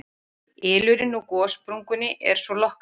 Ylurinn úr gossprungunni er svo lokkandi